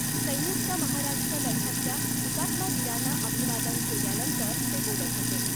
संयुक्त महाराष्ट्र लढ्यातल्या हुतात्मा वीरांना अभिवादन केल्यानंतर ते बोलत होते .